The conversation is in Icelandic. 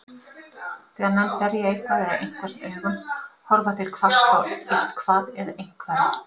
Þegar menn berja eitthvað eða einhvern augum, horfa þeir hvasst á eitthvað eða einhvern.